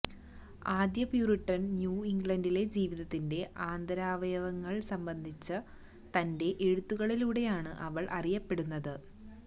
ആദ്യ Puritan new ഇംഗ്ലണ്ടിലെ ജീവിതത്തിന്റെ ആന്തരാവയവങ്ങൾ സംബന്ധിച്ച തന്റെ എഴുത്തുകളിലൂടെയാണ് അവൾ അറിയപ്പെടുന്നത്